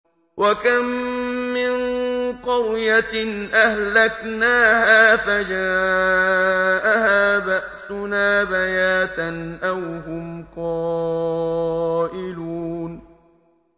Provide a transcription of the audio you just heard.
وَكَم مِّن قَرْيَةٍ أَهْلَكْنَاهَا فَجَاءَهَا بَأْسُنَا بَيَاتًا أَوْ هُمْ قَائِلُونَ